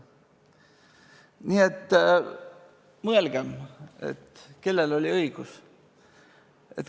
Nii et mõelgem, kellel oli õigus.